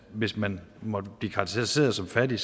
hvis man måtte blive karakteriseret som fattig